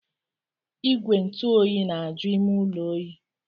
Igwe ntụ oyi na-aju ime ụlọ oyi.